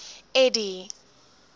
eddie